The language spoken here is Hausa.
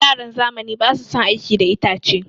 Yaran zamani basu son aiki da itace.